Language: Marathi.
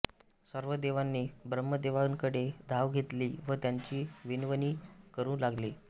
सर्व देवांनी ब्रह्मदेवांकडे धाव घेतली व त्यांची विनवणी करू लागले